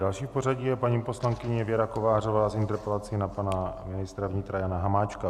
Další v pořadí je paní poslankyně Věra Kovářová s interpelací na pana ministra vnitra Jana Hamáčka.